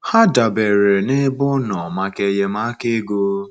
Ha dabeere n’ebe ọ nọ maka enyemaka ego.